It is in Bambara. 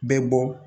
Bɛɛ bɔ